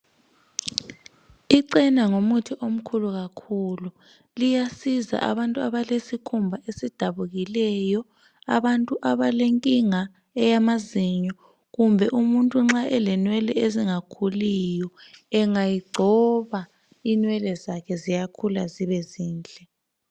Icena ngumuthi omkhulu kakhulu liyasiza abantu abalesikhumba esidabukileyo, abantu abalenkinga eyamazinyo kumbe umuntu nxa elenwele ezingakhuliyo ,engayigcoba inwele zakhe ziyakhula zibe zinhle